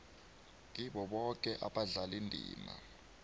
kibo boke abadlalindima